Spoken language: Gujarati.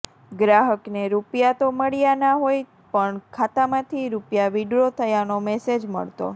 ગ્રાહકને રૂપિયા તો મળ્યાં ના હોય પણ ખાતામાંથી રૂપિયા વીડ્રો થયાનો મેસેજ મળતો